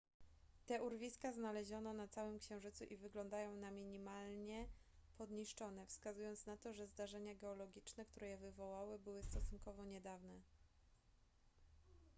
te urwiska znaleziono na całym księżycu i wyglądają na minimalnie podniszczone wskazując na to że zdarzenia geologiczne które je wywołały były stosunkowo niedawne